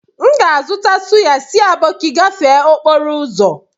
M ga-azụta suya si aboki gafee okporo ụzọ